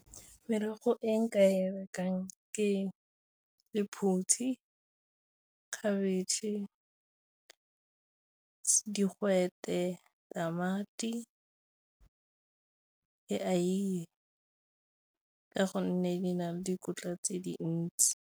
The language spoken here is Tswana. Merogo e nka e rekang ke lephutshi, khabetšhe, digwete, tamati, le eiye ka gonne di na le dikotla tse dintsi.